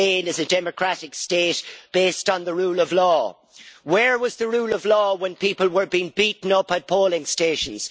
Spain is a democratic state based on the rule of law. Where was the rule of law when people were being beaten up at polling stations?